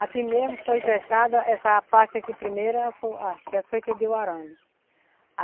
Aqui mesmo foi cercada, essa parte aqui primeira, foi a foi que deu o arame.